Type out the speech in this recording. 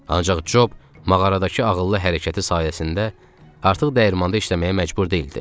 Ancaq Cob mağaradakı ağıllı hərəkəti sayəsində artıq dəyirmanda işləməyə məcbur deyildi.